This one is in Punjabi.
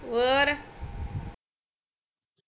ਔਰ